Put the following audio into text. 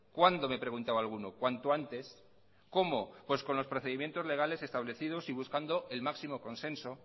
cuándo me preguntaba alguno cuanto antes cómo pues con los procedimientos legales establecidos y buscando el máximo consenso